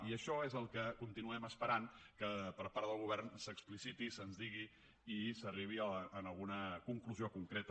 i això és el que continuem esperant que per part del govern s’expliciti i se’ns digui i s’arribi a alguna conclusió concreta